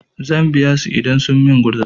Zan biya su idan sun min gurza.